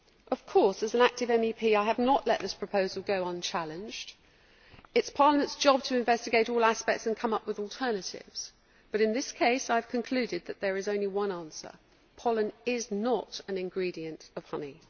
Of course, as an active MEP I have not let this proposal go unchallenged. It is Parliament's job to investigate all aspects and come up with alternatives, but in this case I have concluded that there is only one answer pollen is not an ingredient' of honey.